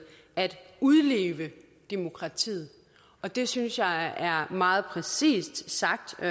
at udleve demokratiet og det synes jeg er meget præcist sagt og